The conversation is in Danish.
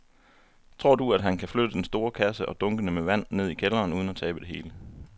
Tror du, at han kan flytte den store kasse og dunkene med vand ned i kælderen uden at tabe det hele?